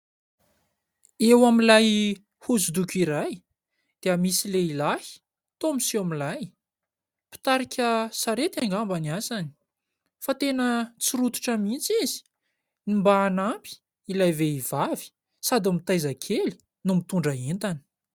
Eo amin'ilay hosodoko iray dia misy lehilahy toa miseho milay. Mpitarika sarety angamba ny asany fa tena tsy rototra mihitsy izy mba hanampy ilay vehivavy sady mitaiza kely no mitondra entana.